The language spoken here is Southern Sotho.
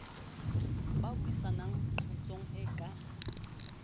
ba buisanang qotsong e ka